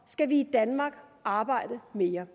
skal vi i danmark arbejde mere